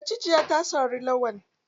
Macijiya ta sari Lawan.